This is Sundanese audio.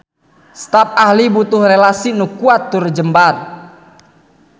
Stap ahli butuh relasi nu kuat tur jembar.